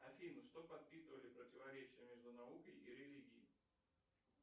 афина что подпитывали противоречия между наукой и религией